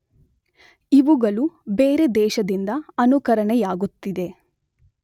ಇವುಗಳು ಬೇರೆ ದೇಶದಿಂದ ಅನುಕರಣೆಯಾಗುತ್ತಿದೆ.